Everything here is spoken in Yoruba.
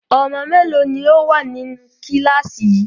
Ọmọ mélòó ni ó wà nínú kíláàsì yìí?